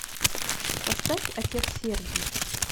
поставь отец сергий